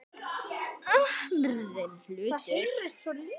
Orðinn hlutur.